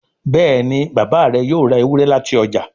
Béèni Bàbá rẹ yóò rá Ewúrẹ́ láti ọjà.